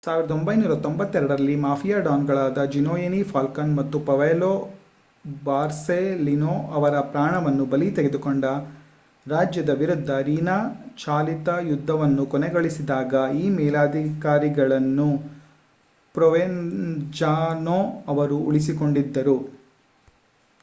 1992 ರಲ್ಲಿ ಮಾಫಿಯಾ ಡಾನ್‌ಗಳಾದ Giovanni Falcone ಮತ್ತು ಪಾವೊಲೊ ಬೊರ್ಸೆಲಿನೊ ಅವರ ಪ್ರಾಣವನ್ನು ಬಲಿ ತೆಗೆದುಕೊಂಡ ರಾಜ್ಯದ ವಿರುದ್ಧ ರಿನಾ-ಚಾಲಿತ ಯುದ್ಧವನ್ನು ಕೊನೆಗೊಳಿಸಿದಾಗ ಈ ಮೇಲಧಿಕಾರಿಗಳನ್ನು ಪ್ರೊವೆನ್ಜಾನೊ ಅವರು ಉಳಿಸಿಕೊಂಡಿದ್ದರು.